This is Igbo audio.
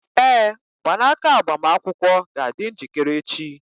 Ee, mgbanaka agbamakwụkwọ ga-adị njikere echi.